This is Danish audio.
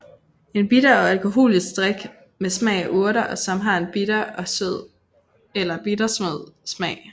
En bitter er en alkoholisk drik med smag af urter og som har en bitter eller bittersød smag